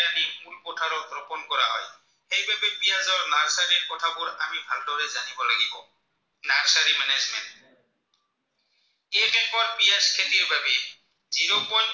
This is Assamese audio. তেনেকুৱা পিঁয়াজ খেতিৰ বাবে Zero point